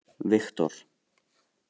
Viktor